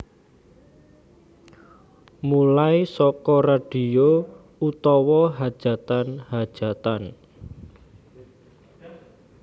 Mulai saka radio utawa hajatan hajatan